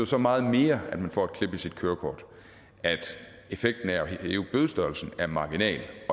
så meget mere at man får et klip i sit kørekort at effekten af at hæve bødestørrelsen er marginal